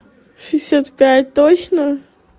шестьдесят пять точно